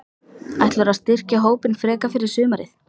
Ætlarðu að styrkja hópinn frekar fyrir sumarið?